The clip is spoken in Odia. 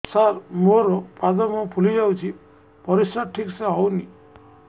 ସାର ମୋରୋ ପାଦ ମୁହଁ ଫୁଲିଯାଉଛି ପରିଶ୍ରା ଠିକ ସେ ହଉନି